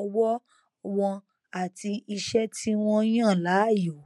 ọwọ wọn àti iṣẹ tí wọn yàn láàyò